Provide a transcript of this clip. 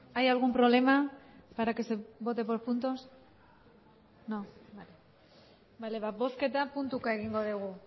hay algún problema para que se vote por puntos no vale bozketa puntuka egingo dugu